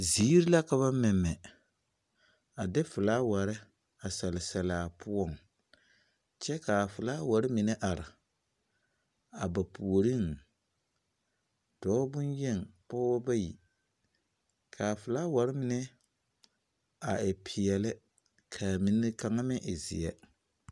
Ziir la ka ba mɛmɛ, a de felaware a sɛle selaa poɔŋ. kyɛ kaa felaware mine are a ba puoriŋ. Dɔɔ boyneŋ, pɔɔbɔ bayi. Kaa felaware mine a e peɛne, kaa mine kaŋa meŋ e zeɛ.